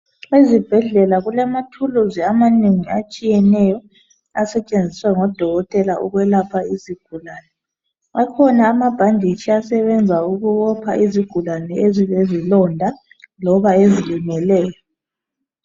Ezibhedlela kulamathuluzi amanengi atshiyeneyo asetshenziswa ngodokotela ukwelapha izigulane. Akhona amabhanditshi asebenzisa ukubopha izigulane ezilezilonda loba ezilimeleyo.